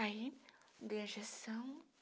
Aí, dei a injeção.